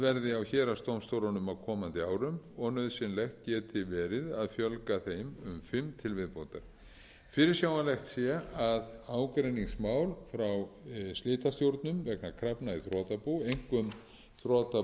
verði á héraðsdómstólunum á komandi árum og nauðsynlegt geti verið að fjölga þeim um fimm til viðbótar fyrirsjáanlegt er að ágreiningsmál frá slitastjórnum vegna krafna í þrotabú einkum þrotabú